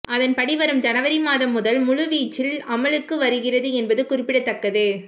அதன்படி வரும் ஜனவரி மாதம் மதல் முழு வீச்சில் அமலுக்கு வருகிறது என்பது குறிப்பிடத்தக்கது